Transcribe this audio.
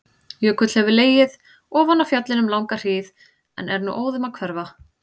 Jökull hefur legið ofan á fjallinu um langa hríð en er nú óðum að hverfa.